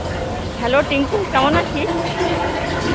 Hello, Tinku কেমন আছিস?